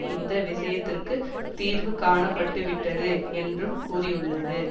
இந்த விஷயத்திற்கு தீர்வு காணப்பட்டுவிட்டது என்றும் கூறியுள்ளது